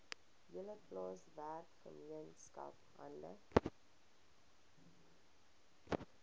hele plaaswerkergemeenskap hande